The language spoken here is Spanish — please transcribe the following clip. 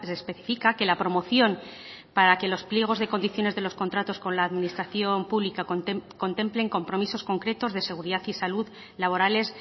especifica que la promoción para que los pliegos de condiciones de los contratos con la administración pública contemplen compromisos concretos de seguridad y salud laborales